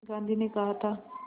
गांधी ने कहा था